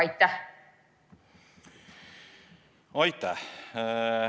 Aitäh!